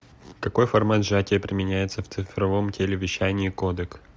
какой формат сжатия применяется в цифровом телевещании кодек